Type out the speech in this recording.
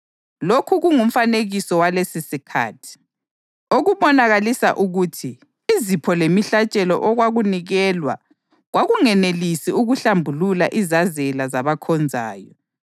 Lokhu kungumfanekiso walesisikhathi, okubonakalisa ukuthi izipho lemihlatshelo okwakunikelwa kwakunganelisi ukuhlambulula izazela zabakhonzayo.